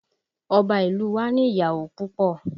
Ọba ìlú u wa ni ìyàwó púpọ̀